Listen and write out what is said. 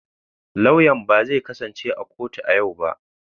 Lauyan ba zai kasance a kotu a yau ba.